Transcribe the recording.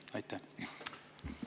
Aitäh!